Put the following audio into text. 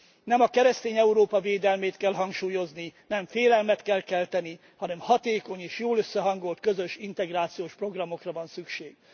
Nem a keresztény Európa védelmét kell hangsúlyozni, nem félelmet kell kelteni, hanem hatékony és jól összehangolt közös integrációs programokra van szükség.